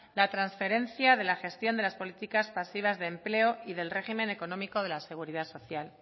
la transferencia de la gestión de las políticas pasivas de empleo y del régimen económico de la seguridad social